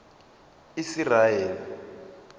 isiraele